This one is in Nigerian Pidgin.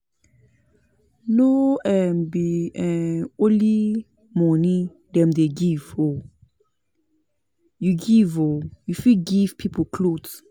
No um be um only moni dem dey give o, you gove oo you fit give pipo clothes.